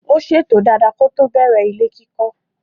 Ó ṣètò dada kótó bẹ̀rẹ̀ ilé kíkọ́.